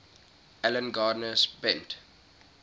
alan garner spent